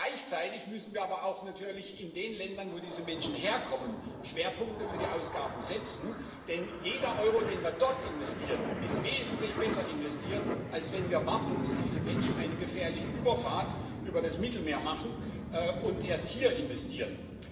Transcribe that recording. Gleichzeitig müssen wir aber natürlich auch in den Ländern, wo diese Menschen herkommen, Schwerpunkte für die Ausgaben setzen, denn jeder Euro, den wir dort investieren, ist wesentlich besser investiert als wenn wir warten, bis diese Menschen eine gefährliche Überfahrt über das Mittelmeer machen und wir erst hier investieren.